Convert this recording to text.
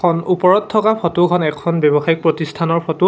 খন ওপৰত থকা ফটোখন এখন ব্যৱসায়িক প্ৰতিষ্ঠানৰ ফটো ।